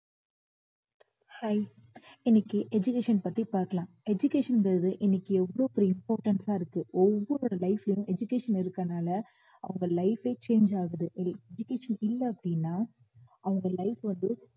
hi இன்னைக்கு education பத்தி பார்க்கலாம் education ன்றது இன்னைக்கு எவ்வளோ பெரிய importance ஆ இருக்கு ஒவ்வொருவருடைய life லயும் education இருக்கறதுனால அவங்க life ஏ change ஆகுது education இல்ல அப்படின்னா அவங்க life வந்து